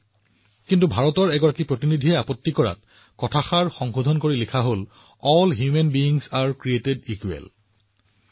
কিন্তু ভাৰতৰ এজন প্ৰতিনিধিয়ে ইয়াত আপত্তি কৰিছিল আৰু তাৰ পিছত সাৰ্বজনীন ঘোষণাপত্ৰত লিখা হৈছিল সকলো মানুহক সমানভাৱে সৃষ্টি কৰা হৈছে